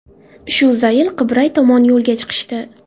Shu zayl Qibray tomon yo‘lga chiqishdi.